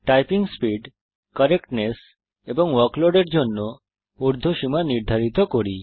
typing speed correctness এবং workload এর জন্য ঊর্ধ্ব সীমা নির্ধারিত করুন